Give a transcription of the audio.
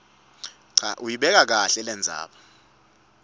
uyibeka kahle lendzaba